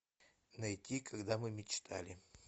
найти когда мы мечтали